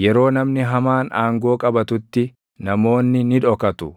Yeroo namni hamaan aangoo qabatutti // namoonni ni dhokatu;